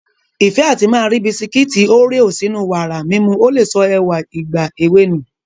Ìfẹ́ àti máa ri Bisikiti Oreo sínú wàrà mímu ò lè sọ ẹwà ìgbà èwe nù